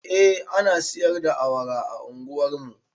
Eh ana siyar da awara a unguwar mu